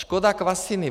Škoda Kvasiny.